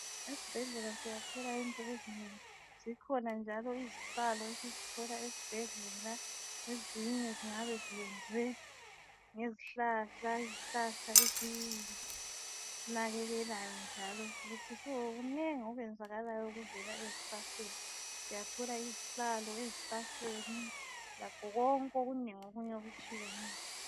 esibhedlela siyathola into ezinengi zikhona njalo izihlalo esizithola esibhedlela ezinye zingabe ziyenzwe ngezihlahla izihlahla esizinakekelayo njalo kunengi okwenzakalayo okuvela ezihlahleni siyahola izihlalo esihlahleni lakho konke okunengi okutshiyeneyo